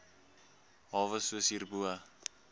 hawe soos hierbo